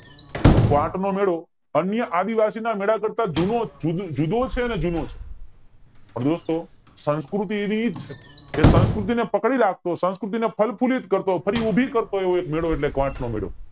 quote નો મેળો અન્ય આદિવાસી કરતા જૂનો જુ જુ જુદો છે અને જૂનો છે તો દોસ્તો સંસ્કૃતિ ની કે સંકૃતિ ને પકડી રાખતો સંકૃતિ ને ફળફુલીત કરતો ફરી ઉભી કરતો એવો એક મેળો એટલે ક્વોટ નો મેળો